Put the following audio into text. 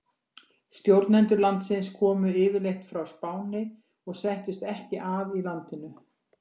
Stjórnendur landsins komu yfirleitt frá Spáni og settust ekki að í landinu.